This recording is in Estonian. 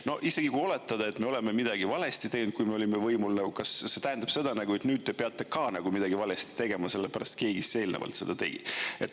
No isegi kui oletada, et me oleme midagi valesti teinud, kui me olime võimul, kas see tähendab seda, et nüüd te peate ka nagu midagi valesti tegema, sellepärast et keegi eelnevalt seda tegi.